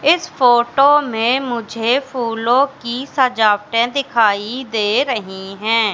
इस फोटो में मुझे फूलों की सजावटे दिखाई दे रही है।